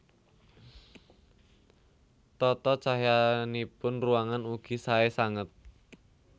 Tata cahyanipun ruangan ugi saé sanget